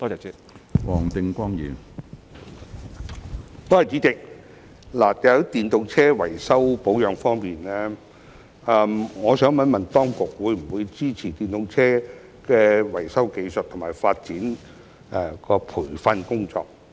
主席，在電動車維修保養方面，當局會否支持電動車維修技術和發展的培訓工作？